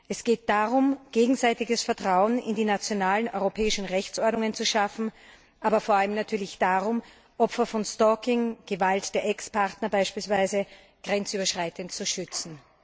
Es geht darum, gegenseitiges Vertrauen in die nationalen europäischen Rechtsordnungen zu schaffen, aber vor allem natürlich darum, Opfer von Stalking Gewalt der Ex Partner beispielsweise grenzübergreifend zu schützen.